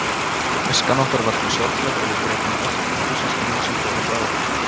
Æskan okkar var því sorgleg og við grétum oft litlu systkinin sem fóru frá okkur.